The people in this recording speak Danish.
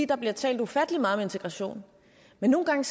der bliver talt ufattelig meget om integration men nogen gange